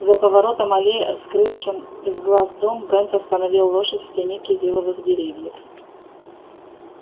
за поворотом аллеи скрывшим из глаз дом брент остановил лошадь в тени кизиловых деревьев